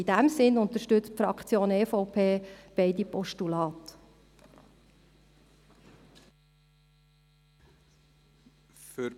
In diesem Sinn unterstützt die Fraktion EVP beide Postulate.